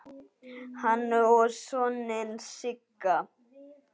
Hann á soninn Sigga.